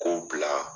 K'o bila